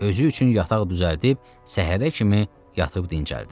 Özü üçün yataq düzəldib səhərə kimi yatıb dincəldi.